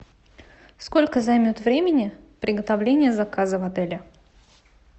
сколько займет времени приготовление заказа в отеле